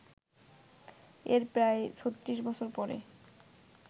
এর প্রায় ৩৬ বছর পরে